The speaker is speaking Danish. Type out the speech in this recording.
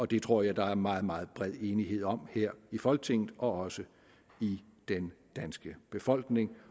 det tror jeg der er meget meget bred enighed om her i folketinget og også i den danske befolkning